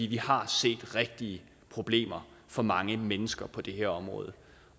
vi har set rigtige problemer for mange mennesker på det her område